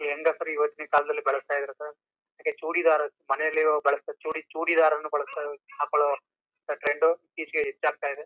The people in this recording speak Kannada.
ಹೆಂಗಸರು ಇವತ್ತಿನ ಕಾಲದಲ್ಲಿ ಬಲಸ್ತ ಇದಾರೆ ಸರ್ ಹಾಗೇ ಚೂಡಿಧಾರ್ ಮನೇಲಿ ಬಲಸ್ತ ಚೂಡಿ ಚೂಡಿಧಾರ್ ಬಲಸ್ತ ಹಾಕೋಳುವಂತ ಟ್ರೆಂಡ್ ಹೆಚ್ಚಾಗ್ತಾ ಇದೆ.